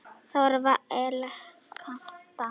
Þóra var elegant dama.